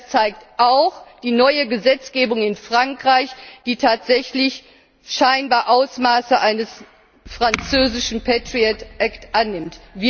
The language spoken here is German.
Das zeigt auch die neue Gesetzgebung in Frankreich, die tatsächlich scheinbar Ausmaße eines französischen Patriot Act annimmt.